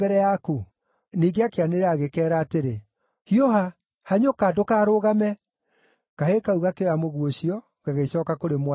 Ningĩ akĩanĩrĩra agĩkeera atĩrĩ, “Hiũha! Hanyũka! Ndũkarũgame!” Kahĩĩ kau gakĩoya mũguĩ ũcio, gagĩcooka kũrĩ mwathi wako.